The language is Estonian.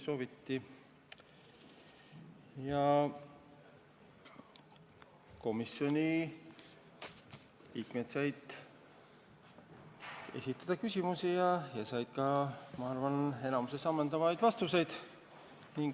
Seega komisjoni liikmed said küsimusi esitada ja said ka, ma arvan, enamikus ammendavad vastused.